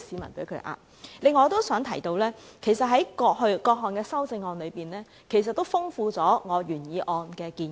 此外，我都想提出，各項修正案其實豐富了我原議案的建議。